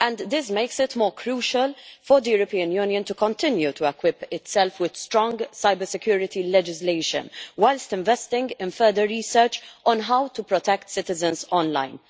This makes it more crucial for the European Union to continue to equip itself with strong cybersecurity legislation, whilst investing in further research on how to protect citizens online.